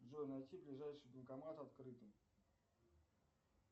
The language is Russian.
джой найти ближайший банкомат открытый